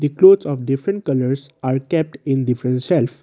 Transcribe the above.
the clothes of different colours are kept in different shelves.